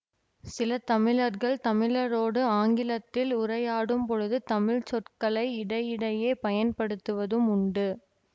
சில தமிழர்கள் தமிழரோடு ஆங்கிலத்தில் உரையாடும்பொழுது தமிழ் சொற்களை இடையிடையே பயன்படுத்துவதும் உண்டு